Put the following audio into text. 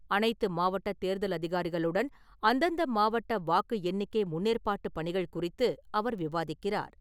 அனைத்து மாவட்ட தேர்தல் அதிகாரிகளுடன், அந்தந்த மாவட்ட வாக்கு எண்ணிக்கை முன்னேற்பாட்டு பணிகள் குறித்து அவர் விவாதிக்கிறார்.